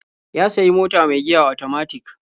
Ya sayi mota mai giya otomatik.